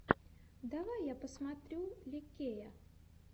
давай я посмотрю ли кея